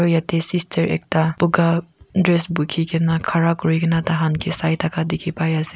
yate sister ekta buga dress bukhi kena khara kuri kena tahan ke sai thaka dikhi pai ase.